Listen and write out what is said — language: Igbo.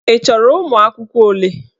Ị chọrọ ụmụ akwụkwọ ole?